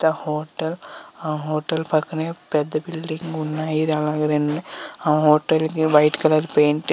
The hotel . ఆ hotel పక్కననే పెద్ద బిల్డింగ్ ఉన్నాయి. ఆ హోటల్ కి వైట్ కలర్ పెయింట్--